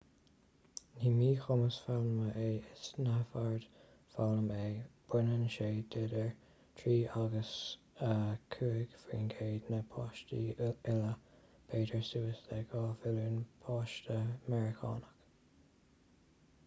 ní míchumas foghlama é is neamhord foghlama é baineann sé d'idir 3 agus 5 faoin gcéad na páistí uile b'fhéidir suas le 2 mhilliún páiste meiriceánach